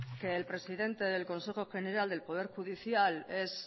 que el presidente del consejo general del poder judicial es